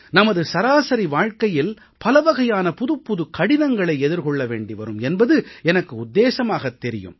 நமது சராசரி வாழ்க்கையில் பலவகையான புதுப்புது கடினங்களை எதிர்கொள்ள வேண்டிவரும் என்பது எனக்கு உத்தேசமாகத் தெரியும்